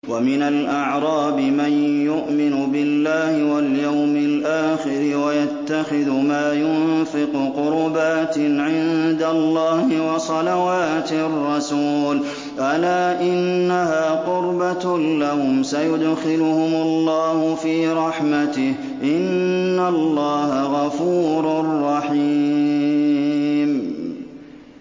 وَمِنَ الْأَعْرَابِ مَن يُؤْمِنُ بِاللَّهِ وَالْيَوْمِ الْآخِرِ وَيَتَّخِذُ مَا يُنفِقُ قُرُبَاتٍ عِندَ اللَّهِ وَصَلَوَاتِ الرَّسُولِ ۚ أَلَا إِنَّهَا قُرْبَةٌ لَّهُمْ ۚ سَيُدْخِلُهُمُ اللَّهُ فِي رَحْمَتِهِ ۗ إِنَّ اللَّهَ غَفُورٌ رَّحِيمٌ